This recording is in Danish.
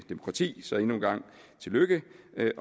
demokrati så endnu en gang tillykke